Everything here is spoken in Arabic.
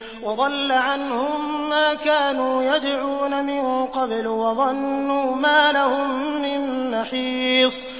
وَضَلَّ عَنْهُم مَّا كَانُوا يَدْعُونَ مِن قَبْلُ ۖ وَظَنُّوا مَا لَهُم مِّن مَّحِيصٍ